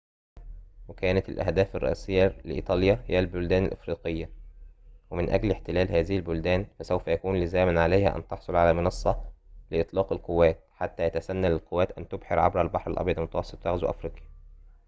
وكانت الأهداف الرئيسية لإيطاليا هي البلدان الأفريقية ومن أجل احتلال هذه البلدان فسوف يكون لزاماً عليها أن تحصل على منصة لإطلاق القوات حتى يتسنى للقوات أن تبحر عبر البحر الأبيض المتوسط وتغزو أفريقيا